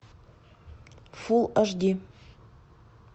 фул аш ди